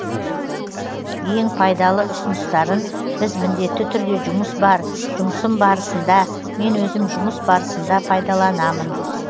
ең пайдалы ұсыныстарын біз міндетті түрде жұмыс бар жұмысым барысында мен өзім жұмыс барысында пайдаланамын